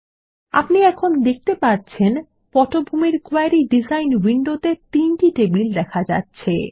এখন আপনি দেখতে পাচ্ছেন পটভূমির কোয়েরি ডিজাইন উইন্ডোতে তিনটি টেবিল দেখা যাচ্ছে